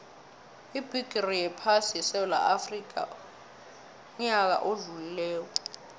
ibigixi yephasi beyisesewula afxica uyaka odlulile